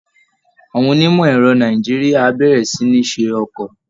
Àwọn onímọ̀ ẹ̀rọ Nàìjíríà á bẹ̀rẹ̀ sí ní ṣe ọkọ̀